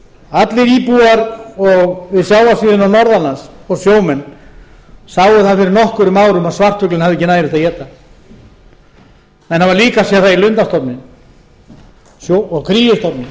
allir íbúar við sjávarsíðuna norðanlands og sjómenn sáu það fyrir nokkrum árum að svartfuglinn hafði ekki nægilegt að éta menn hafa líka séð það í lundastofninum og